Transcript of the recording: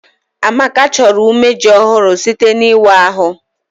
Amaka chọrọ umeji ọhụrụ site n'ịwa ahụ